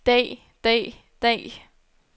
dag dag dag